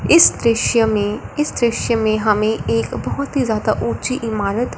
इस दृश्य में इस दृश्य में हमें एक बहुत ही ज्यादा ऊंची इमारत--